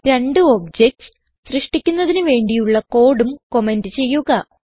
രണ്ട് ഒബ്ജക്റ്റ്സ് സൃഷ്ടിക്കുന്നതിന് വേണ്ടിയുള്ള കോഡും കമന്റ് ചെയ്യുക